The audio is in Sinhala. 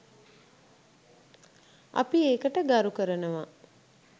අපි ඒකට ගරු කරනව